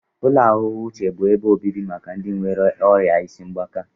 Ụlọ ahụike uche bụ ebe obibi maka ndị nwéré ọrịa isi mgbaka